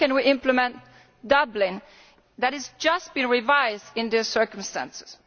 How can we implement Dublin which has just been revised in these circumstances?